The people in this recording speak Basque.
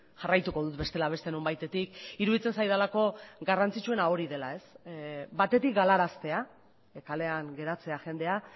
jarraituko dut bestela beste nonbaitetik iruditzen zaidalako garrantzitsuena hori dela batetik galaraztea kalean geratzea jendea